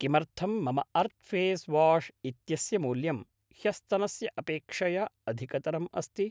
किमर्थं मम earth face wash इत्यस्य मूल्यं ह्यस्तनस्य अपेक्षया अधिकतरम् अस्ति?